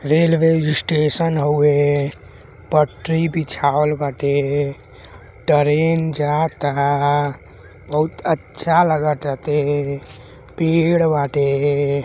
Railway station हउवे पटरी बिछावल बाटे। टरेन जाता बहुत अच्छा लागताटे पेड़ बाटे।